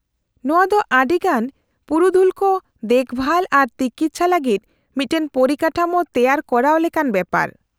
-ᱱᱚᱶᱟ ᱫᱚ ᱟᱹᱰᱤᱜᱟᱱ ᱯᱩᱨᱩᱫᱷᱩᱞ ᱠᱚ ᱫᱮᱠᱵᱷᱟᱞ ᱟᱨ ᱛᱤᱠᱤᱪᱷᱟ ᱞᱟᱹᱜᱤᱫ ᱢᱤᱫᱴᱟᱝ ᱯᱚᱨᱤᱠᱟᱴᱷᱟᱢᱳ ᱛᱮᱣᱟᱨ ᱠᱚᱨᱟᱣ ᱞᱮᱠᱟᱱ ᱵᱮᱯᱟᱨ ᱾